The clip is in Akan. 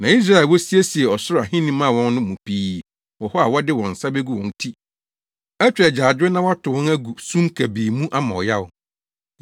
Na Israelfo a wosiesiee ɔsoro ahenni maa wɔn no mu pii wɔ hɔ a wɔde wɔn nsa begu wɔn ti atwa agyaadwo na wɔatow wɔn agu sum kabii mu ama ɔyaw.”